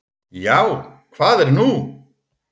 """Já, hvað er nú?"""